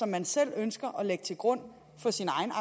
man selv ønsker at lægge til grund for sin egen